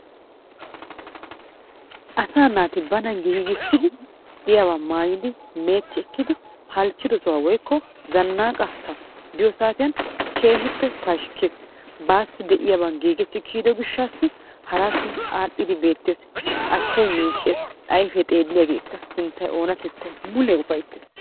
Asaa naati banaa gigisidi, de'iyabba mayidi halchido sohuwa woyko zanaqaa sohuwa biyo satiyan kehippe pashkees, de'uyaba gigetti kiyido goshasi harappe arhiddi betees, achaayi micces, ayfe xeliyagekka, sinttay onnaa tettay mulle ufayttes.